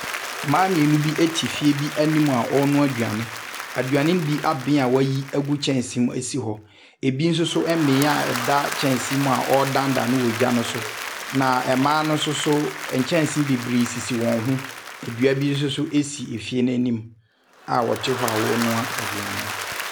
Mmaa mmienu bi te fie bi anim a wɔrenoa aduane. Aduane no bi abene a wɔayi agu kyɛnse mu asi hɔ. Ebi nso so mmeneeɛ a ɛda kyɛnse mu a ɔredanedane no wɔ gya no so, na mmaa no nso so, nkyɛnse bebree sisi wɔn ho. Dua bi nso so si efie no anim a wɔte hɔ a wɔrenoa aduane no.